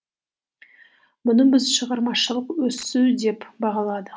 бұны біз шығармашылық өсу деп бағаладық